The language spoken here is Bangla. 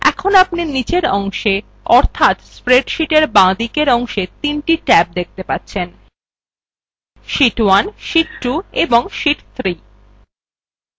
এখন আপনি নীচের অংশে অর্থাৎ spreadsheet বাঁদিকের অংশে তিনটি sheet ট্যাব দেখতে পাচ্ছেনsheet1 sheet 2 এবং sheet 3